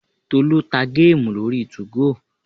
Tolú ta géèmù lórí 2go